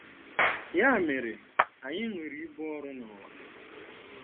Ya mere, anyị nwere ibu ọrụ n'ụwa.